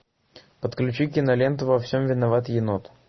подключи киноленту во всем виноват енот